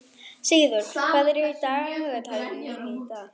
Sigurður, hvað er í dagatalinu mínu í dag?